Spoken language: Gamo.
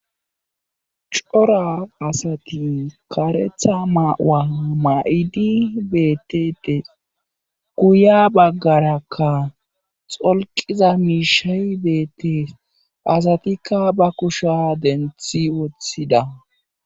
Cora asati karetha ma'uwa ma'id betetes, guya bagaraka xolqiza mishay betes, asatika ba kushe denthi utida .